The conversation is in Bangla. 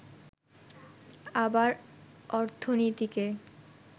আবার অর্থনীতিকে